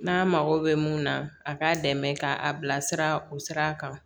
N'a mago bɛ mun na a k'a dɛmɛ k'a bilasira o sira kan